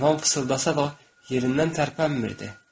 Heyvan fısıldasa da yerindən tərpənmirdi.